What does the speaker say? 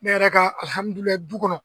Ne yɛrɛ ka du kɔnɔ